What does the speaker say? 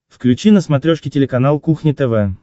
включи на смотрешке телеканал кухня тв